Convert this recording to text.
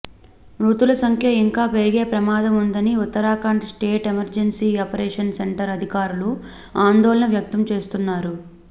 మృతుల సంఖ్య ఇంకా పెరిగే ప్రమాదం ఉందని Uttarakhand state emergency operation centre అధికారులు ఆందోళన వ్యక్తం చేస్తున్నారు